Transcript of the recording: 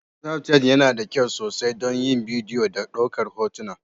Snafchat yana da kyau sosai don yin bidiyo da ɗaukar hoto.